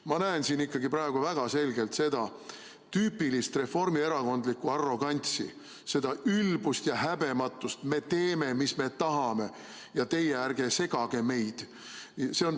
Ma näen siin ikkagi praegu väga selgelt seda tüüpilist reformierakondlikku arrogantsi, seda ülbust ja häbematust: me teeme, mis me tahame, ja teie ärge segage meid.